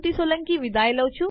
જોડાવા બદ્દલ આભાર